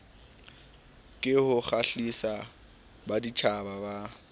ke ho kgahlisa baditjhaba ka